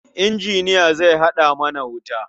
Injiniya zai haɗa mana wuta.